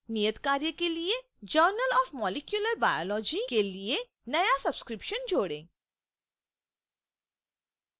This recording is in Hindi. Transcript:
नियतकार्य के लिए journal of molecular biology के लिए नया subscription जोड़ें